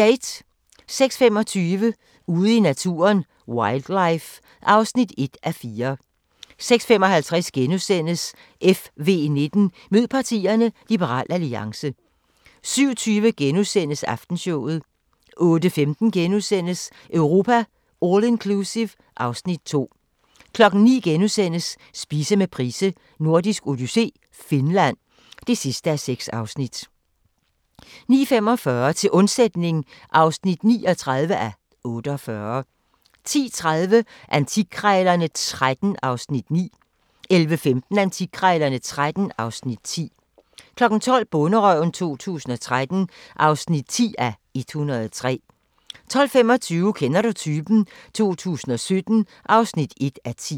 06:25: Ude i naturen: Wildlife (1:4) 06:55: FV19: Mød partierne – Liberal Alliance * 07:20: Aftenshowet * 08:15: Europa All Inclusive (Afs. 2)* 09:00: Spise med Price: Nordisk Odyssé - Finland (6:6)* 09:45: Til undsætning (39:48) 10:30: Antikkrejlerne XIII (Afs. 9) 11:15: Antikkrejlerne XIII (Afs. 10) 12:00: Bonderøven 2013 (10:103) 12:25: Kender du typen? 2017 (1:10)